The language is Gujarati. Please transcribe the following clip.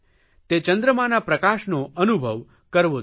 તે ચંદ્રમાના પ્રકાશનો અનુભવ કરવો જોઇએ